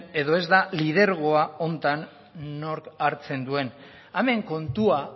edo ez da lidergoa honetan nork hartzen duen hemen kontua